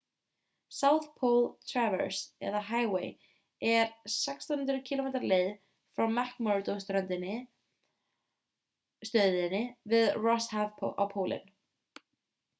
south pole traverse eða highway er 1600 km leið frá mcmurdo-stöðinni við rosshaf á pólinn